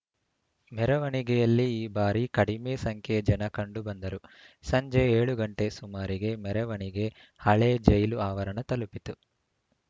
ಮೆರವಣಿಗೆಯಲ್ಲಿ ಈ ಬಾರಿ ಕಡಿಮೆ ಸಂಖ್ಯೆಯ ಜನ ಕಂಡು ಬಂದರು ಸಂಜೆ ಏಳು ಗಂಟೆ ಸುಮಾರಿಗೆ ಮೆರವಣಿಗೆ ಹಳೇ ಜೈಲು ಆವರಣ ತಲುಪಿತು